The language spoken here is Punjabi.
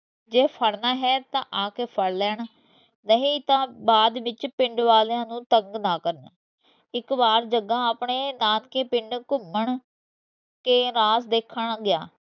ਜੇ ਫੜਨਾ ਹੈ ਤਾਂ ਆਕੇ ਫੜ ਲੈਣ ਨਹੀਂ ਤਾਂ ਬਾਅਦ ਵਿੱਚ ਪਿੰਡ ਵਾਲਿਆਂ ਨੂੰ ਤੰਗ ਨਾ ਕਰਨ ਇਕ ਬਾਰ ਜਗਾ ਆਪਣੇ ਨਾਨਕੇ ਪਿੰਡ ਘੁੰਮਣ ਕੇ ਰਾਹ ਦੇਖਣ ਗਿਆ